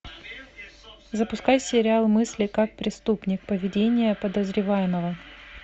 запускай сериал мысли как преступник поведение подозреваемого